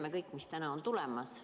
Me kõik ju teame, mis täna on tulemas.